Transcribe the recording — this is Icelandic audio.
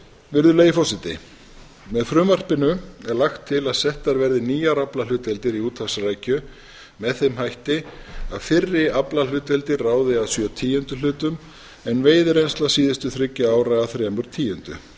virðulegi forseta með frumvarpinu er lagt til að settar verði nýjar aflahlutdeildir í útahfsrækju með þeim hætti að fyrri aflahlutdeildir ráði að sjö tíundu en veiðireynsla síðustu þriggja ára að þremur tíundu